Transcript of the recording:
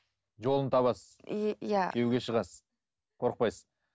жолын табасыз и иә күйеуге шығасыз қорықпайсыз